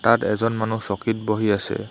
তাত এজন মানুহ চকীত বহি আছে।